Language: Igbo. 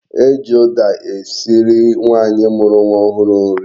E ji uda esiri nwaanyi muru nwa ohuru nri